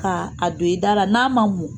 K' a don i dara n'a ma mɔn